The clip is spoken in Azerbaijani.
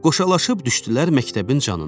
Qoşalaşıb düşdülər məktəbin canına.